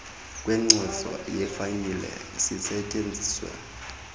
kwenkcazo yefayile zisetyenziswe